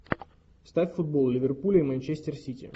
ставь футбол ливерпуль и манчестер сити